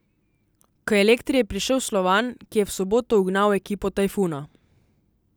K Elektri je prišel Slovan, ki je v soboto ugnal ekipo Tajfuna.